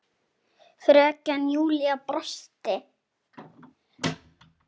Fröken Júlía brosti.